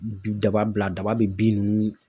Bin, daba bila daba be bin ninnu